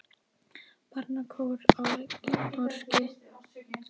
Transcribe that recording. Barnakór á Lækjartorgi.